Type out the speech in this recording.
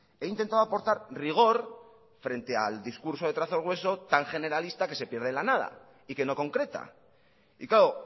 he intentado aportar rigor frente al discurso de trazo grueso tan generalista que se pierde en la nada y que no concreta y claro